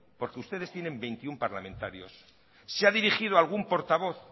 porque ustedes tienen veintiuno parlamentarios se ha dirigido a algún portavoz